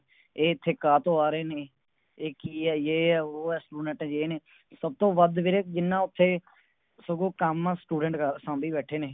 ਇਹ ਇਥੇ ਕਾ ਤੋਂ ਆ ਰਹੇ ਨੇ ਇਹ ਕਿ ਹੈ ਏ ਹੈ ਓ ਹੈ Student ਏ ਨੇ ਸਭ ਤੋਂ ਵੱਧ ਵੀਰੇ ਜਿੰਨਾ ਉਥੇ ਸਗੋਂ ਕੰਮ Student ਕਰ ਸਾਂਭੀ ਬੈਠੇ ਨੇ